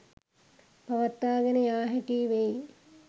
පවත්වාගෙන යා හැකි වෙයි